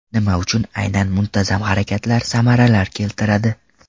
Nima uchun aynan muntazam harakatlar samaralar keltiradi?.